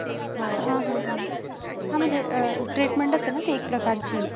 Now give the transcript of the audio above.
हा हा हा म्हणजे अं treatment असते ना एक प्रकराची